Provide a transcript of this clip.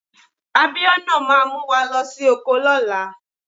Abiona máa mu wa losi oko lóla